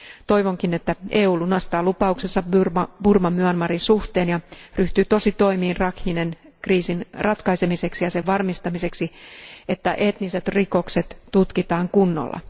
Toivonkin että EU lunastaa lupauksensa Burman Myanmarin suhteen ja ryhtyy tositoimiin Rakhinen kriisin ratkaisemiseksi ja sen varmistamiseksi, että etniset rikokset tutkitaan kunnolla.